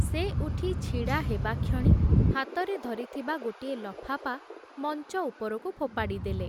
ସେ ଉଠି ଛିଡ଼ା ହେବାକ୍ଷଣି, ହାତରେ ଧରିଥିବା ଗୋଟିଏ ଲଫାପା, ମଞ୍ଚ ଉପରକୁ ଫୋପାଡ଼ି ଦେଲେ ।